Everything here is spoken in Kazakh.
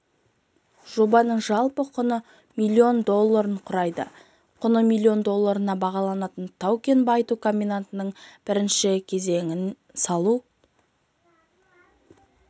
жобаның жалпы құны миллион долларын құрайды құны миллион долларына бағаланатын тау-кен байыту комбинатының бірінші кезеңін салу